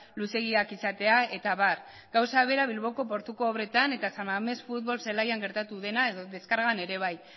luzeegiak izatea eta abar gauza bera bilboko portuko obretan eta san mamés futbol zelaian gertatu dena edo deskargan ere bai